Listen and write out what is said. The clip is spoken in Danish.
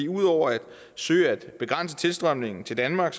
ud over at søge at begrænse tilstrømningen til danmark